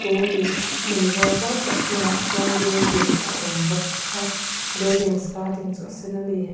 chumi hmun zawl zautak hnungah chuan building a awmbawk a building skirting chu a sen ani.